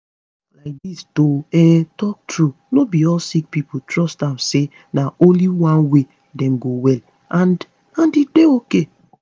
laidis to um talk truth no be all sick pipo trust am say na only one way dem go well and and e dey ok